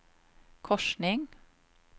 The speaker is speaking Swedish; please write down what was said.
korsning